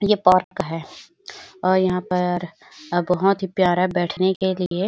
ये पार्क है और यहाँ पर बहुत ही प्यारा बैठने के लिए --